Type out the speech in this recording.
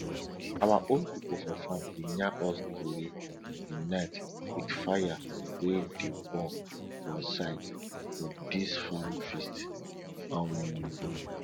our old pipo for farm dey yarn us tori for night with fire wey dey burn for side for dis farm feast um